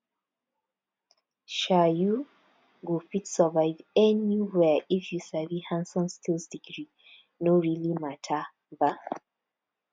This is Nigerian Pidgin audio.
um you go fit survive anywhere if you sabi handson skills degree no really mata um